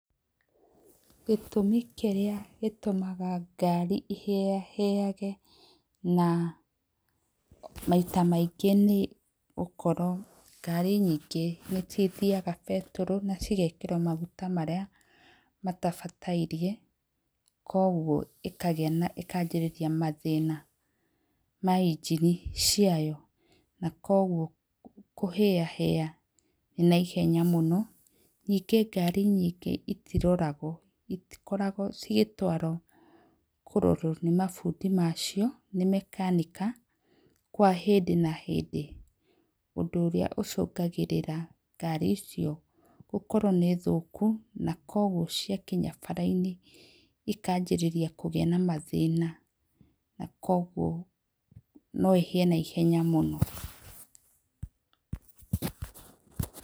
Gĩtũmi kĩrĩa gĩtũmaga ngari ĩhĩahĩage na maita maingĩ nĩ gũkorwo ngari nyingĩ nĩ cithiaga betũrũ na cigekĩrwo maguta marĩa matabataire koguo ĩkanjĩrĩria mathĩna ma engine ciayo na koguo kũhĩahĩa naihenya mũno. Ningĩ ngari nyingĩ itiroragwo, itikoragwo igĩtũarwo kũrorwo nĩ mabundi macio, nĩ mechanic kwa hĩndĩ na hĩndĩ. Ũndũ ũrĩa ũcũngagĩra ngari icio gũkorwo nĩ thũku na kwoguo ciakinya bara-inĩ ikanjĩrĩria kũgĩa na mathĩna, na kwoguo no ĩhĩe na ihenya mũno.